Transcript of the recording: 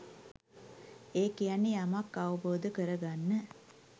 ඒ කියන්නේ යමක් අවබෝධ කරගන්න